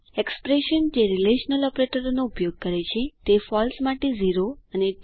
expression જે relational ઓપરેટરોનો ઉપયોગ કરે છે તે ફળસે માટે 0 અને ટ્રૂ માટે 1 રિટર્ન કરે છે